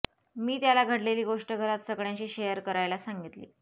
मी त्याला घडलेली गोष्ट घरात सगळ्यांशी शेअर करायला सांगितली